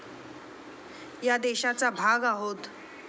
या देशाचा भाग आहोत.